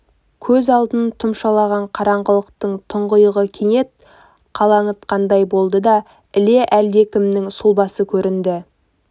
көз алдын тұмшалаған қараңғылықтың тұңғиығы кенет қылаңытқандай болды да іле әлдекімнің сұлбасы көрінді